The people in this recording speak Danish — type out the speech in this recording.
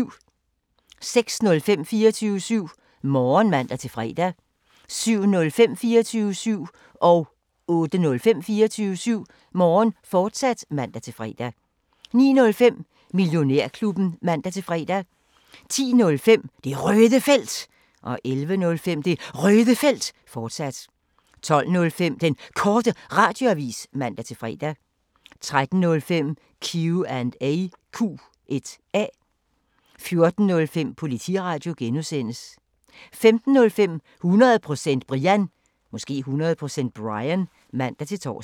06:05: 24syv Morgen (man-fre) 07:05: 24syv Morgen, fortsat (man-fre) 08:05: 24syv Morgen, fortsat (man-fre) 09:05: Millionærklubben (man-fre) 10:05: Det Røde Felt 11:05: Det Røde Felt, fortsat 12:05: Den Korte Radioavis (man-fre) 13:05: Q&A 14:05: Politiradio (G) 15:05: 100% Brian (man-tor)